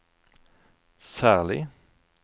særlig